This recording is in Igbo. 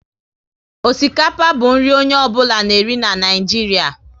Osikapa bụ nri onye ọ bụla na eri na Naịjiria